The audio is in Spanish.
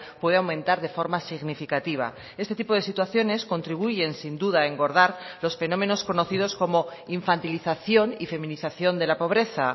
puede aumentar de forma significativa este tipo de situaciones contribuyen sin duda a engordar los fenómenos conocidos como infantilización y feminización de la pobreza